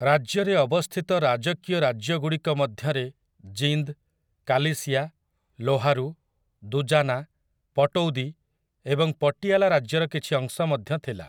ରାଜ୍ୟରେ ଅବସ୍ଥିତ ରାଜକୀୟ ରାଜ୍ୟଗୁଡ଼ିକ ମଧ୍ୟରେ ଜିନ୍ଦ୍, କାଲି‌ସିଆ, ଲୋହାରୁ, ଦୁଜାନା, ପଟୌଦି ଏବଂ ପଟିଆଲା ରାଜ୍ୟର କିଛି ଅଂଶ ମଧ୍ୟ ଥିଲା ।